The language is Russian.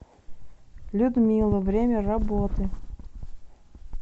людмила время работы